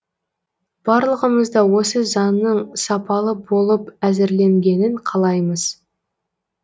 барлығымыз да осы заңның сапалы болып әзірленгенін қалаймыз